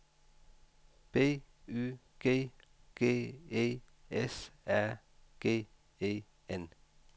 B Y G G E S A G E N